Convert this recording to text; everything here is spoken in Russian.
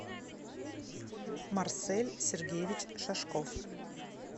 марсель сергеевич шашков